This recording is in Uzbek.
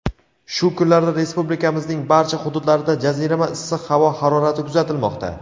"shu kunlarda Respublikamizning barcha hududlarida jazirama issiq havo harorati kuzatilmoqda".